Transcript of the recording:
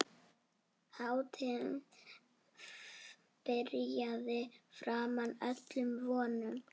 Hátíðin byrjaði framar öllum vonum.